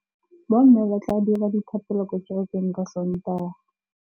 Bommê ba tla dira dithapêlô kwa kerekeng ka Sontaga.